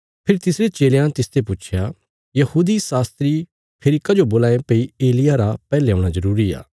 फेरी तिसरे चेलयां तिसते पुच्छया यहूदी शास्त्री फेरी कजो बोलां ये भई एलिय्याह रा पैहले औणा जरूरी आ